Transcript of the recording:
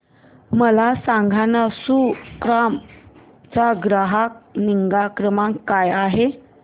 मला सांगाना सुकाम चा ग्राहक निगा क्रमांक काय आहे